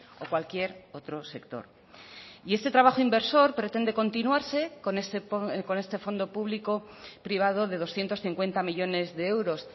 o cualquier otro sector y este trabajo inversor pretende continuarse con este fondo público privado de doscientos cincuenta millónes de euros